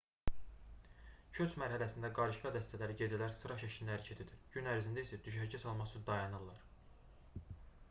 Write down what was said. köç mərhələsində qarışqa dəstələri gecələr sıra şəklində hərəkət edir gün ərzində isə düşərgə salmaq üçün dayanırlar